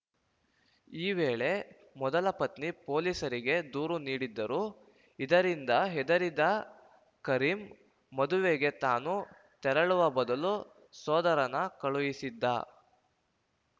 ಈ ವೇಳೆ ಮೊದಲ ಪತ್ನಿ ಪೊಲೀಸರಿಗೆ ದೂರು ನೀಡಿದ್ದರು ಇದರಿಂದ ಹೆದರಿದ ಕರೀಂ ಮದುವೆಗೆ ತಾನು ತೆರಳುವ ಬದಲು ಸೋದರನ ಕಳುಹಿಸಿದ್ದ